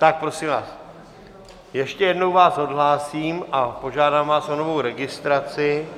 Tak prosím vás, ještě jednou vás odhlásím a požádám vás o novou registraci.